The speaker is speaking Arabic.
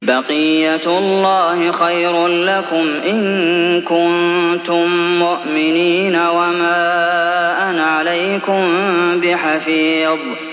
بَقِيَّتُ اللَّهِ خَيْرٌ لَّكُمْ إِن كُنتُم مُّؤْمِنِينَ ۚ وَمَا أَنَا عَلَيْكُم بِحَفِيظٍ